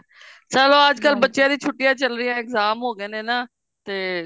ਚਲੋ ਅੱਜਕਲ ਬੱਚਿਆ ਦੀ ਛੁੱਟੀਆ ਚੱਲ ਰਿਹਾ ਨੇ exam ਹੋ ਗਏ ਨੇ ਨਾ ਤੇ